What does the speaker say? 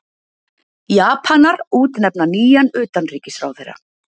Japanar útnefna nýjan utanríkisráðherra